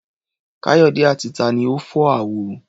Káyọ̀dé àti ta ni ó fọ́ àwo?